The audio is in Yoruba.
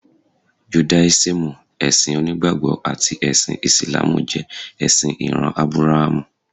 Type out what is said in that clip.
Judáísímù, ẹ̀sìn onígbàgbọ́ àti ẹ̀sìn Ìsìlámù jẹ ẹ̀sìn ìran Ábúráhámù.